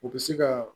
U bɛ se ka